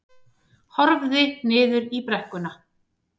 Horfði niður í brekkuna.